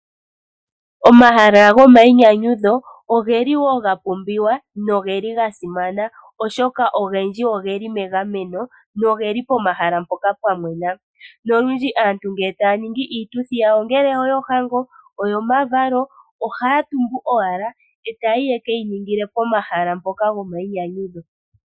Omahala gomainyanyudho oge li wo ga pumbiwa, no ge li ga simana oshoka ogendji oge li megameno, noge li pomahala mpoka pwa mwena. Nolundji aantu ngele taya ningi iituthi yawo ongele oyo hango, oyo ma valo, ohaya tumbu owala e taye ke yi ningila pomahala mpoka gomainyanyudho.